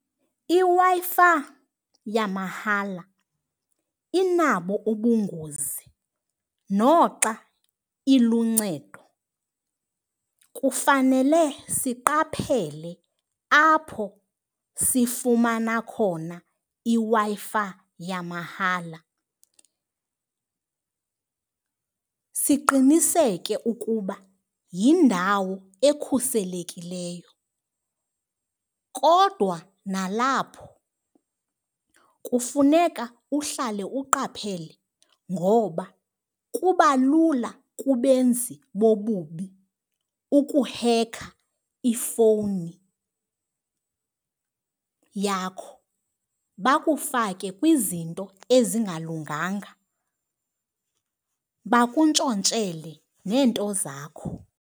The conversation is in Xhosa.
IWi-Fi yamahala inabo ubungozi noxa iluncedo. Kufanele siqaphele apho sifumana khona iWi-Fi yamahala, siqiniseke ukuba yindawo ekhuselekileyo. Kodwa nalapho kufuneka uhlale uqaphele ngoba kubalula kubenzi bobubi ukuhekha ifowuni yakho, bakufake kwizinto ezingalunganga bakuntshontshele neento zakho.